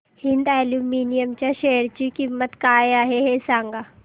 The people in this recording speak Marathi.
हिंद अॅल्युमिनियम च्या शेअर ची किंमत काय आहे हे सांगा